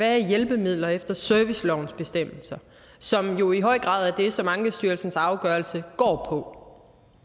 er hjælpemidler efter servicelovens bestemmelser som jo i høj grad er det som ankestyrelsens afgørelse går